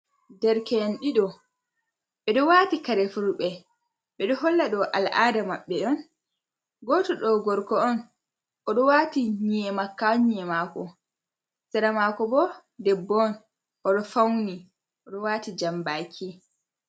Nderkeen diɗo ɓe do wati kare fulɓe ɓe do holla do al'ada maɓɓe don goto do gorko on odo wati nye'e makka ha nye'e mako sera mako bo debbo on oɗo fauni do wati jamɓaki.